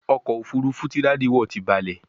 ọkọ̀ òfurufú tí Daddy wọ tí balè